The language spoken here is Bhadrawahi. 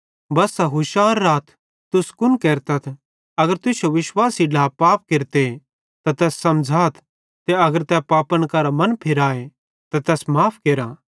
बस्सा हुशार राथ तुस कुन केरतथ अगर तुश्शो विश्वासी ढ्ला पाप केरते त तैस समझ़ाथ ते अगर तै पापन करां मन फिराए त तैस माफ़ केरा